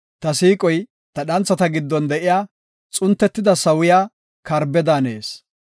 Ta siiqoy ta dhanthata giddon de7iya, xuntetida sawiya karbe daanees.